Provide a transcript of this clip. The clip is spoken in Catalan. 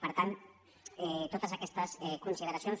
per tant totes aquestes consideracions